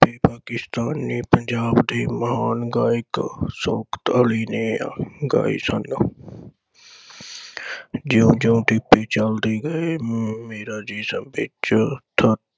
ਕਿਸ਼ਤਾ ਨੇ ਪੰਜਾਬ ਦੇ ਮਹਾਨ ਗਾਇਕ ਅਲੀ ਸੋਫਤ ਅਲੀ ਨੇ ਗਾਏ ਸਨ। ਜਿਓਂ ਜਿਓਂ ਗੱਡੀ ਚਲਦੀ ਗਈ ਮੇਰਾ ਜੀ ਸਭ ਵਿਚ ਧੱਕ